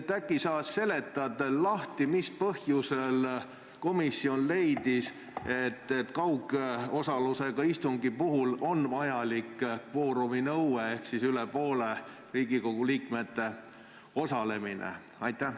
Äkki sa seletad veel lahti, mis põhjusel komisjon leidis, et kaugosalusega istungi puhul on vajalik kvoorumi nõue ehk siis üle poole Riigikogu liikmete osalemine?